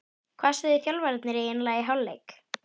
Hvað sögðu þjálfararnir eiginlega í hálfleik?